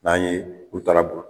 N'an ye u taara